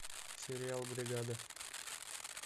сериал бригада